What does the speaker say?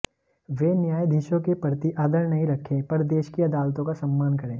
वे न्यायधीशों के प्रति आदर नहीं रखें पर देश की अदालतों का सम्मान करें